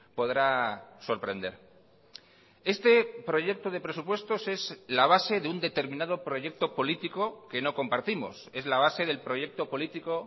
podrá sorprender este proyecto de presupuestos es la base de un determinado proyecto político que no compartimos es la base del proyecto político